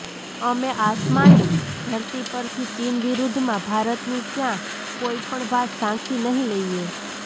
અમે આસામની ધરતી પરથી ચીન વિરુદ્ધમાં ભારતની ક્યાં કોઈ પણ વાત સાંખી નહીં લઈએ